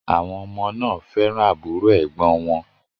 Àwọn ọmọ náà fẹ́ràn àbúrò ẹ̀gbọ́n wọn